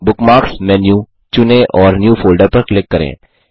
bookmarks menu चुनें और new folder पर क्लिक करें